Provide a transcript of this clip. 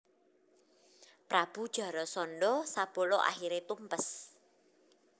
Prabu Jarasandha sabala akhiré tumpes